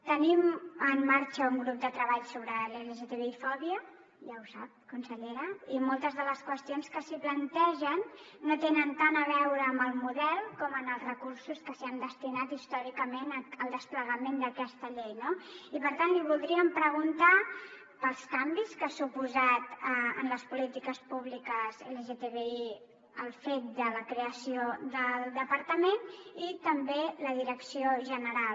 tenim en marxa un grup de treball sobre l’lgtbi fòbia ja ho sap consellera i moltes de les qüestions que s’hi plantegen no tenen tant a veure amb el model com amb els recursos que s’han destinat històricament al desplegament d’aquesta llei no i per tant li voldríem preguntar pels canvis que ha suposat en les polítiques públiques lgtbi el fet de la creació del departament i també la direcció general